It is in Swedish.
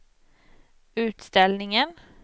utställningen